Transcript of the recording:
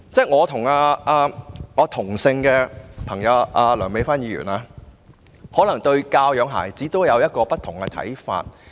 我和梁美芬議員皆姓梁，但大家對教養孩子可能有不同看法。